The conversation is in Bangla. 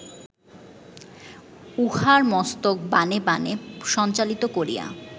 উহার মস্তক বাণে বাণে সঞ্চালিত করিয়া